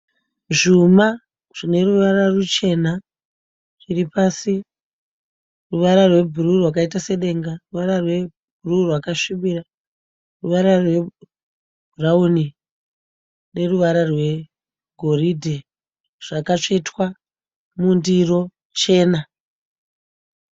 Zvuma zvineruvara ruchena ruripasi, ruvara rwebhuruu rwakaita sedenga, ruvara rwebhuruu rakasvibira, ruvara rwebhurauni neruvara rwegoridhe zvakatsvetwa mundiro chena.